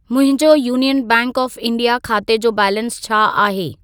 मुंहिंजो Union Bank of India खाते जो बैलेंस छा आहे?